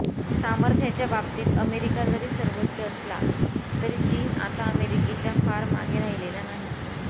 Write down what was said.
सामर्थ्याच्या बाबतीत अमेरिका जरी सर्वोच्च असली तरी चीन आता अमेरिकेच्या फार मागे राहिलेला नाही